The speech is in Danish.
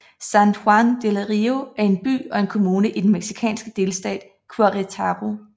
San Juan del Río er en by og en kommune i den mexikanske delstat Querétaro